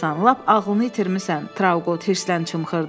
Lap ağlını itirmisən, Trauqot hırsla çımxırdı.